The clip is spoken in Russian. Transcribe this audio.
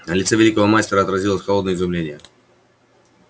на лице великого мастера отразилось холодное изумление